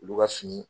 Olu ka fini